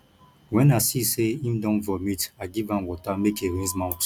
wen i see sey im don vomit i give am water make e rinse mouth